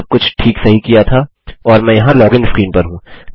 सब कुछ ठीक सही किया था और मैं यहाँ लॉगिन स्क्रीन पर हूँ